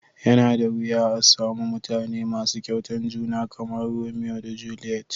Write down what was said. Ya na da wiya a'samu mutane masu Kyautan juna kamar Romeo da Juliet.